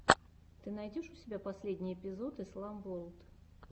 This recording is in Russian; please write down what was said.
ты найдешь у себя последний эпизод ислам ворлд